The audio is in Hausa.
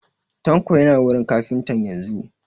Tanko yana wurin kafintan yanzun